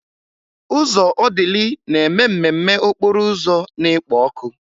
Ụzọ Odili na-eme mmemme okporo ụzọ na-ekpo ọkụ.